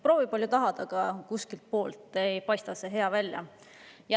Proovi palju tahad, aga kuskilt poolt ei paista see hea välja.